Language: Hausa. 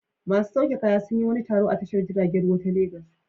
Masu sauke kaya sun yi wani taro a tashar jiragen ruwa ta Legas.